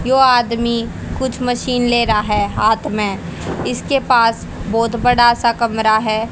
यो आदमी कुछ मशीन ले रहा है हाथ में इसके पास बहुत बड़ा सा कमरा है।